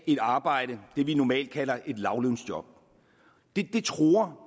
et arbejde det vi normalt kalder et lavtlønsjob det truer